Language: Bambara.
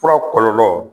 Fura kɔlɔlɔ